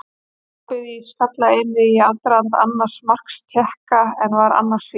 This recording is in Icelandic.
Tapaði skallaeinvígi í aðdraganda annars marks Tékka en var annars fínn.